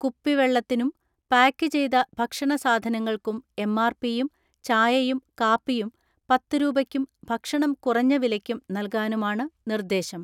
കുപ്പിവെള്ളത്തിനും pack ചെയ്ത ഭക്ഷണ സാധന ങ്ങൾക്കും എം.ആർ.പിയും ചായയും കാപ്പിയും പത്ത് രൂപയ്ക്കും ഭക്ഷണം കുറഞ്ഞ വിലയ്ക്കും നൽകാനുമാണ് നിർദ്ദേശം.